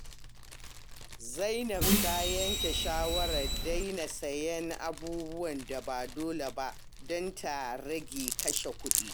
Zainab ta yanke shawarar daina siyan abubuwan da ba dole ba don ta rage kashe kudi.